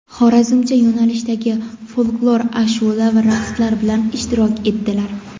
"Xorazmcha" yo‘nalishdagi folklor ashulla va raqslari bilan ishtirok etdilar.